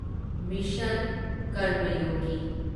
mission ꯀꯔꯃꯌꯣꯒꯤ